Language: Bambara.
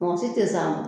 Mɔgɔ si tɛ s'a ma